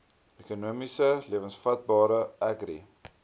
ekonomies lewensvatbare agri